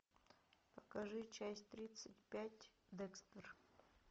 покажи часть тридцать пять декстер